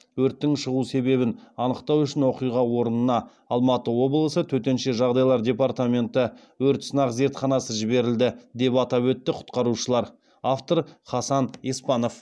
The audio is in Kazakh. өрттің шығу себебін анықтау үшін оқиға орнына алматы облысы төтенше жағдайлар департаменті өрт сынақ зертханасы жіберілді деп атап өтті құтқарушылар автор хасан еспанов